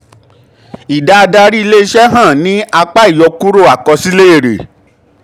ìdá adarí ilé-iṣẹ́ hàn ní apá ìyọkúrò um àkọsílẹ̀ èrè.